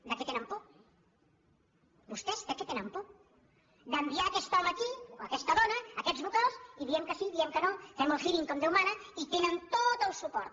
de què tenen por vostès de què tenen por d’envi·ar aquest home aquí o aquesta dona aquests vocals i diem que sí diem que no fem el hearing com déu mana i tenen tot el suport